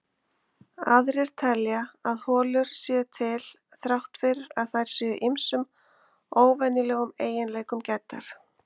Aðrir telja að holur séu til þrátt fyrir að þær séu ýmsum óvenjulegum eiginleikum gæddar.